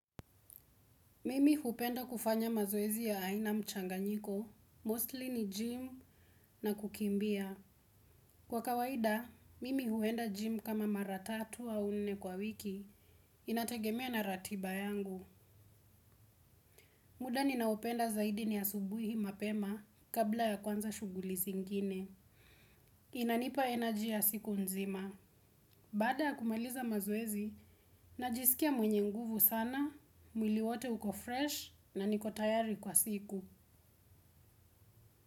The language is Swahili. Mimi hupenda kufanya mazoezi ya aina mchanganyiko, mostly ni gym na kukimbia. Kwa kawaida, mimi huenda gym kama mara tatu wa nne kwa wiki, inategemea na ratiba yangu. Muda ninaopenda zaidi ni asubuhi mapema kabla ya kuanza shughuli zingine. Inanipa energy ya siku nzima. Baada ya kumaliza mazoezi, najisikia mwenye nguvu sana, mwili wote uko fresh na niko tayari kwa siku.